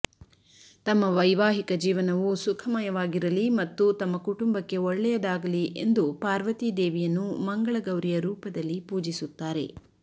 ತಮ್ಮ ವೈವಾಹಿಕ ಜೀವನವು ಸುಖಮಯವಾಗಿರಲಿ ಮತ್ತು ತಮ್ಮ ಕುಟುಂಬಕ್ಕೆ ಒಳ್ಳೆಯದಾಗಲಿ ಎಂದು ಪಾರ್ವತಿ ದೇವಿಯನ್ನು ಮಂಗಳ ಗೌರಿಯ ರೂಪದಲ್ಲಿ ಪೂಜಿಸುತ್ತಾರೆ